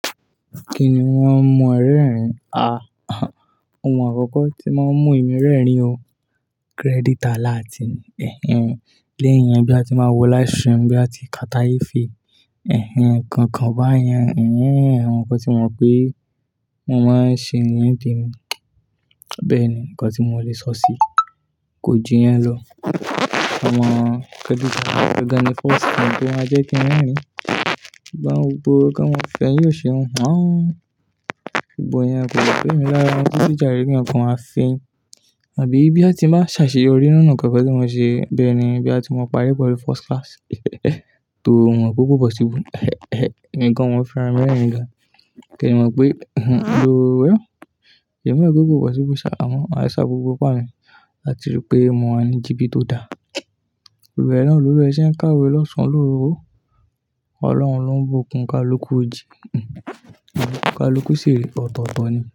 Kí ni wọ́n ń mú o rẹrìn? Ah, ohun àkọ́kọ́ tí mo ń mú ìmú rẹ́rìn o, credit alert ni Ẹ̀hẹ́n, léyìn yẹn, boya ti máa wọ livestream, boyaa ti Carter Efe, ẹ̀hẹ́n, nǹkan kan bayan, ẹ̀hẹ́n, àwọn nǹkan tí mo mọ pé mo máa ń ṣe ní ìdí mi. Bẹ́ẹ̀ ni, nǹkan tí mo lè sọ sí kò ju yẹn lọ. Omoh, credit alert gan-an ni first bank pé wọ́n a jẹ́ kí n rerin Sugbon gbogbo ki won mo feyin osin yen gbogbọ́ yẹn kò bẹ́ mi lára titi jare ki eyan nǹkan ma fẹ́ yín. Àbí bí a ti bá ṣàṣeyọrí nínú nǹkan ti mo ṣe, boya ti mo parí pelù first class. Torí momo pe ko possible. Emigan mọn fi ra mi rẹ̀ńri gàn. Kẹ́mọ̀ pé, o well, emi mo wipe ko possible sha, amo ma sa gbogbo ipa à mi. A ti rí pé mọ̀ wa ni jìbì tó da. Òwe náà lólu wee ṣe ń kàwé lọ́sàn, lóru. Ọlọ́run ló ń bo òǹkà lókù ojì, òǹikà lókù sì rí ọ̀tọ̀ọ̀tọ̀ ni.